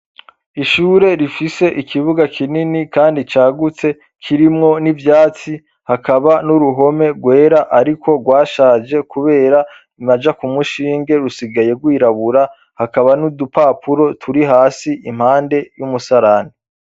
Ishure rifise ikibuga kinini kandi cagutse kirimwo n'ivyatsi hakaba n'uruhome rwera ariko gwashaje kubera amaja k'umushinge rusigaye gwirabura hakaba n'udupapuro turi hasi impande y'umusarani.